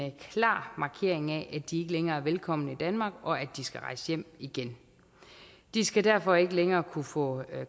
klar markering af at de ikke længere er velkomne i danmark og at de skal rejse hjem igen de skal derfor ikke længere kunne få